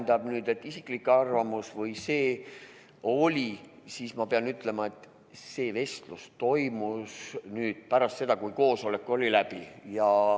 Mis puudutab isiklikku arvamust, siis ma pean ütlema, et see vestlus toimus pärast seda, kui koosolek oli läbi.